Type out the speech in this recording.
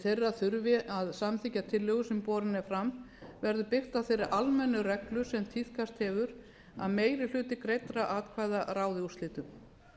þeirra þurfi að samþykkja tillögu sem borin er fram verður byggt á þeirri almennu reglu sem tíðkast hefur að meiri hluti greiddra atkvæða ráði úrslitum